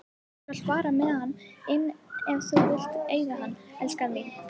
Þú skalt fara með hann inn ef þú vilt eiga hann, elskan mín.